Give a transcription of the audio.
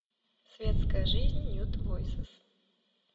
светская жизнь нюд войсес